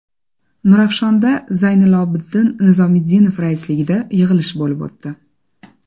Nurafshonda Zaynilobiddin Nizomiddinov raisligida yig‘ilish bo‘lib o‘tdi.